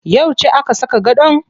Yauce aka saka gadon?